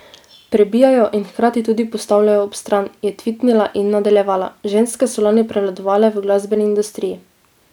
Prebijajo in hkrati tudi postavljajo ob stran," je tvitnila in nadaljevala: "Ženske so lani prevladovale v glasbeni industriji.